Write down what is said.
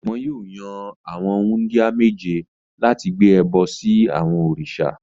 Wọn yóò yan àwọn wúńdíá méje láti gbé ẹbọ sí àwọn òrìṣà.